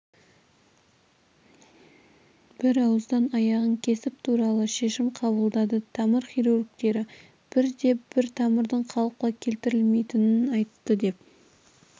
бірауыздан аяғын кесіп тастау туралы шешім қабылдады тамыр хирургтері бірде-бір тамырдың қалыпқа келтірілмейтінін айтты деп